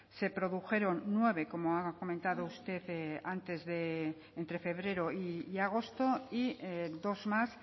se produjeron nueve como ha comentado usted antes entre febrero y agosto y dos más